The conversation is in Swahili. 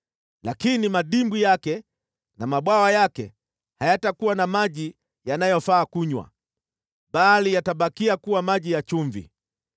Lakini madimbwi yake na mabwawa yake hayatakuwa na maji yanayofaa kunywa, bali yatabakia kuwa maji ya chumvi.